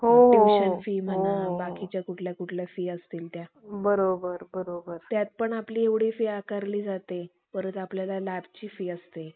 आम्हाला व्यवस्थित सुंदरपणे शिकवीत असतात. अ ते sir आम्हाला आमच्यासाठी खूप प्रयत्न करीत असतात की, सर्व सर्वच विद्यार्थी कमजोर विद्यार्थी सुद्धा